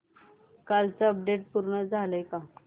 कालचं अपडेट पूर्ण झालंय का